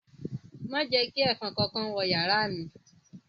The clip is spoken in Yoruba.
Ma je ​​ki èfọn kánkán wo yàrá mi